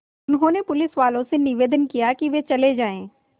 उन्होंने पुलिसवालों से निवेदन किया कि वे चले जाएँ